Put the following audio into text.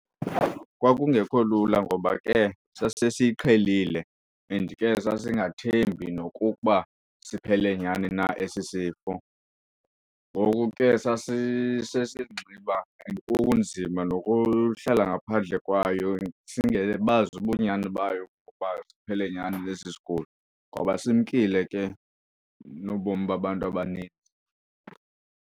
Kwakungekho lula ngoba ke sasesiyiqhelile and ke sasingathembi nokukuba siphele nyani na esi sifo. Ngoku ke sasi sesizinxiba and kunzima nokuhlala ngaphandle kwayo singebazi nobunyani bayo ukuba siphele nyani na esi sigulo ngoba simkile ke nobomi babantu abanintsi.